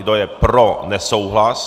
Kdo je pro nesouhlas?